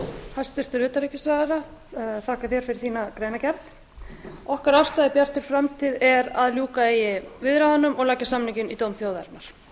hæstvirtur utanríkisráðherra þakka þér fyrir þína greinargerð afstaða okkar í bjartri framtíð er að ljúka eigi viðræðunum og leggja samninginn í dóm þjóðarinnar